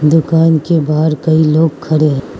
दुकान के बाहर कई लोग खड़े हैं।